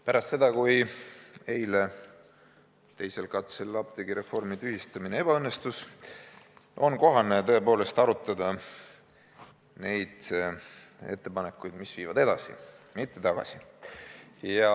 Pärast seda, kui eile teisel katsel apteegireformi tühistamine ebaõnnestus, on kohane tõepoolest arutada neid ettepanekuid, mis viivad edasi, mitte tagasi.